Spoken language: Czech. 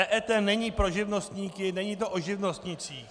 EET není pro živnostníky, není to o živnostnících.